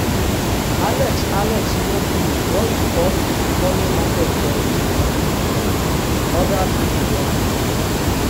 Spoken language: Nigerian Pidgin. alex alex no blow just because e dey follow market trend — other things join.